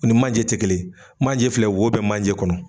U ni manje te kelen, manje filɛ wo bɛ manje kɔnɔ.